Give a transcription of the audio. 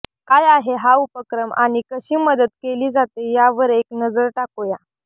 काय आहे हा उपक्रम आणि कशी मदत केली जाते यावर एक नजर टाकूया